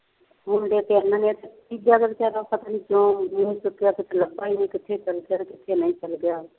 ਹੁਣ ਦੇਖ ਤੇਰੇ ਨਾਲ ਦੇਖ, ਤੀਜਿਆਂ ਬੰਦਿਆਂ ਨਾਲ ਪਤਾ ਨਹੀਂ ਕਿਉਂ ਨਹੀਂ ਲੱਭਿਆ, ਕੁੱਛ ਲੱਭਿਆ ਨਹੀਂ, ਕਿੱਥੇ ਚੱਲ ਗਿਆ, ਕਿੱਥੇ ਨਹੀਂ ਚੱਲ ਗਿਆ।